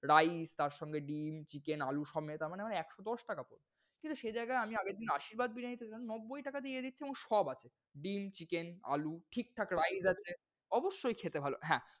rice তারসঙ্গে ডিম, chicken, আলু সব। তারমানে আমার একশো দশ টাকা পড়লো। কিন্তু সেই জাইগায় আমি আগেরদিন আশীর্বাদ বিরিয়ানিতে নব্বই টাকা দিয়ে দেখছি সব আছে। ডিম, chicken, আলু, ঠিকঠাক rice আছে। অবশ্যই খেতে ভালো। হ্যাঁ,